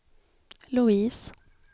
Louise